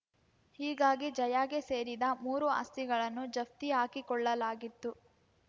ಹೀಗಾಗಿ ಜಯಾಗೆ ಸೇರಿದ ಮೂರು ಆಸ್ತಿಗಳನ್ನು ಜಪ್ತಿ ಹಾಕಿಕೊಳ್ಳಲಾಗಿತ್ತು